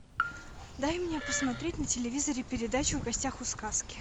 дай мне посмотреть на телевизоре передачу в гостях у сказки